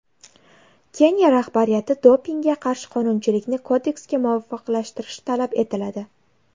Keniya rahbariyati dopingga qarshi qonunchilikni kodeksga muvofiqlashtirishi talab etiladi.